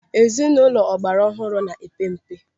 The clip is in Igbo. Ezinụlọ ọgbara ọhụrụ na-epe mpe.